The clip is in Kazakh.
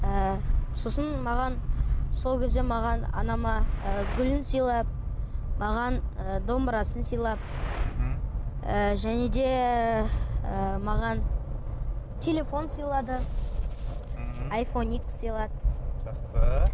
і сосын маған сол кезде маған анама ы гүлін сыйлап маған ы домбырасын сыйлап мхм ы және де ы маған телефон сыйлады ммм айфон х сыйлады жақсы